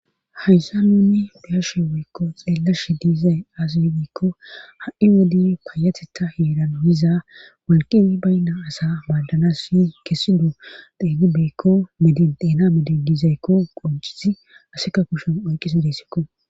hayssa nunni biyashe weykko xeellash diizay asiygiikko ha7i wodi payateta heeran yiza walqi baynna asa baaddanas si kesi do deenibeykko medi deena medi dizaykko qoncisi aseka kushen oyqisi deyssikko